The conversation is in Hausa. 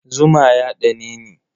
Zuma ya ɗaneni.